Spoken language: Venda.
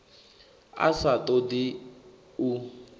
a sa ṱo ḓi u